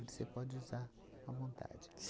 Você pode usar à vontade.